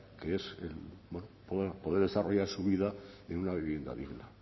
que es poder desarrollar su vida en una vivienda digna